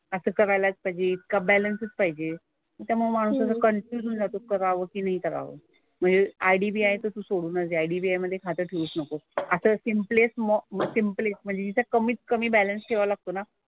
असं करायलाच पाहिजे का बॅलन्सच पाहिजे. त्यामुळे माणूस असा कन्फ्युज होऊन जातो की करावं की नाही करावं. म्हणजे IDBI चं तू सोडूनच दे. IDBI मधे खातं ठेवूच नको. आता सिम्प्लेस्ट म सिम्प्लेस्ट म्हणजे जिथे कमीत कमी बॅलन्स ठेवावा लागतो ना,